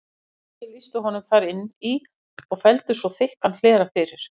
Fangaverðir lýstu honum þar inn í og felldu svo þykkan hlera fyrir.